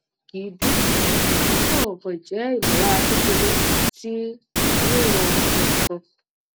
kì í dun mi o kan kan je imolara kekere ti riran nkaǹ